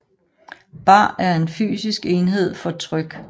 Bar er en fysisk enhed for tryk